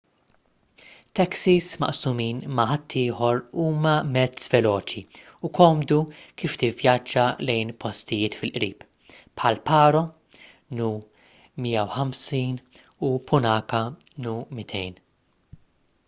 taksis maqsumin ma’ ħaddieħor huma mezz veloċi u komdu kif tivvjaġġa lejn postijiet fil-qrib bħal paro nu 150 u punakha nu 200